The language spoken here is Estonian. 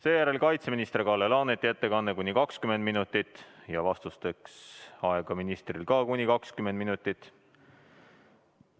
Seejärel on kaitseminister Kalle Laaneti ettekanne kuni 20 minutit ja vastusteks on ministril aega ka kuni 20 minutit.